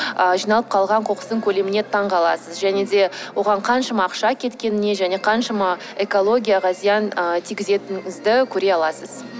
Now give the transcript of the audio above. ы жиналып қалған қоқыстың көлеміне таңқаласыз және де оған қаншама ақша кеткеніне және қаншама экологияға зиян ы тигізетініңізді көре аласыз